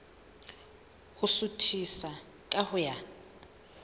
ho suthisa ka ho ya